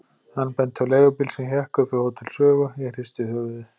Hann benti á leigubíl sem hékk upp við Hótel Sögu, ég hristi höfuðið.